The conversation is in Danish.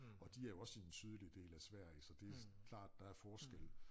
Og de er jo også i den sydlige del af Sverige så det klart der forskelle